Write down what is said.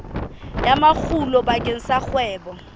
ya makgulo bakeng sa kgwebo